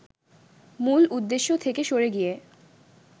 মূল উদ্দেশ্য থেকে সরে গিয়ে